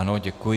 Ano, děkuji.